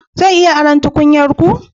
Zan iya aron tukunyar ku?